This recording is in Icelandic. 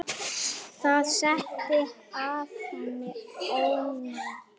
Það setti að henni ónot.